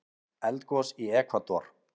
Eldgos í Ekvador